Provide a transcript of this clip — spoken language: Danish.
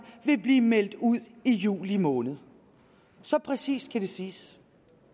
vil blive meldt ud i juli måned så præcist kan det siges